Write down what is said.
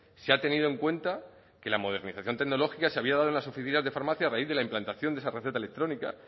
se ha tenido en cuenta que la modernización tecnológica se había dado en las oficinas de farmacia a raíz de la implantación de esa receta electrónica